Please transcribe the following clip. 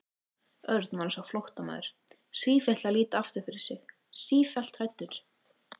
Örn var eins og flóttamaður, sífellt að líta aftur fyrir sig, sífellt hræddur.